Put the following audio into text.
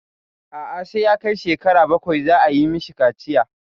A'a sai ya kai shekara bakwai za a yi mishi kaciya.